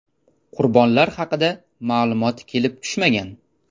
Qurbonlar haqida ma’lumot kelib tushmagan.